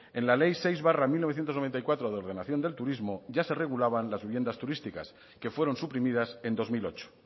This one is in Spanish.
en la ley seis barra mil novecientos noventa y cuatro de ordenación del turismo ya se regulaban las viviendas turísticas que fueron suprimidas en dos mil ocho